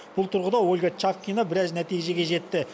бұл тұрғыда ольга чавкина біраз нәтижеге жетті